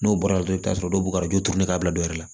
N'o bɔra dɔrɔn i bɛ t'a sɔrɔ dɔw bɛ ka juru turu ka bila dɔ yɛrɛ la